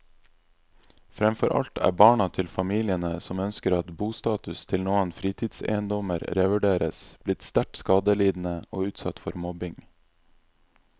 Fremfor alt er barna til familiene som ønsker at bostatus til noen fritidseiendommer revurderes, blitt sterkt skadelidende og utsatt for mobbing.